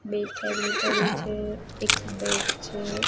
બે થેલી પડી છે એક બેટ છે.